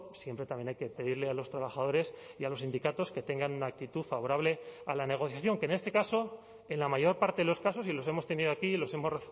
siempre también hay que pedirle a los trabajadores y a los sindicatos que tengan una actitud favorable a la negociación que en este caso en la mayor parte de los casos y los hemos tenido aquí los hemos